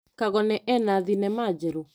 Kagone ena thinema njerũ?